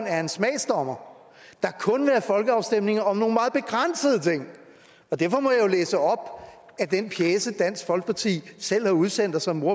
er en smagsdommer der kun vil have folkeafstemninger om nogle meget begrænsede ting og derfor må jeg jo læse op af den pjece som dansk folkeparti selv har udsendt og som